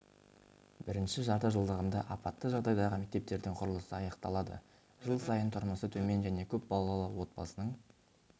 бірінші жартыжылдығында апатты жағдайдағы мектептердің құрылысы аяқталады жыл сайын тұрмысы төмен және көп балалы отбасының